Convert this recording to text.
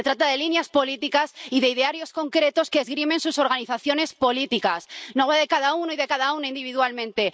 Se trata de líneas políticas y de idearios concretos que esgrimen sus organizaciones políticas, no de cada uno y de cada una individualmente.